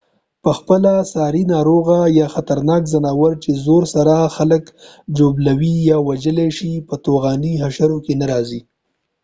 پخپله ساري ناروغۍ یا خطرناک ځناور چې زور سره خلک ژوبلولای یا وژلای شي په طاعوني حشرو کې نه راځي